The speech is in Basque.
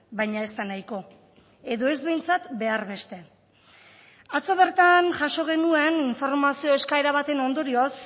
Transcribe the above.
baina ez da nahiko edo ez behintzat behar beste atzo bertan jaso genuen informazio eskaera baten ondorioz